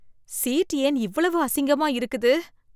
Seat ஏன் இவ்வளவு அசிங்கமா இருக்குது?